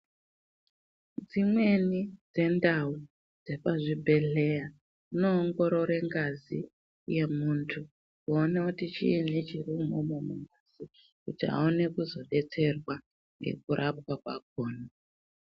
Dzimweni dzendawo dzepazvibhedhlera dzinongorore ngazi yemuntu yoona kuti chiini chiri umomo mungazi kuti aone kuzobetserwa nekurapwa kwakona.